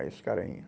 Aí esse carinha.